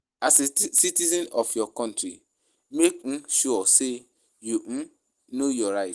As a citizen of your country make um sure say you um know your right